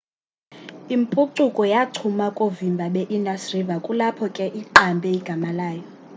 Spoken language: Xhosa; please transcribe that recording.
impucuko yachuma koovimba beindus river kulapho ke iqambe igama layo